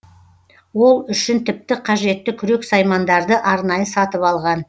ол үшін тіпті қажетті күрек саймандарды арнайы сатып алған